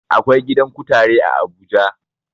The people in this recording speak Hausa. Akwai gidan kutare a abuja